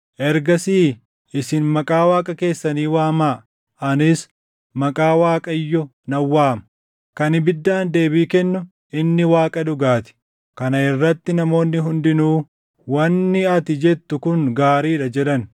Ergasii isin maqaa Waaqa keessanii waamaa; anis maqaa Waaqayyo nan waama. Kan ibiddaan deebii kennu inni Waaqa dhugaa ti.” Kana irratti namoonni hundinuu, “Wanni ati jettu kun gaarii dha” jedhan.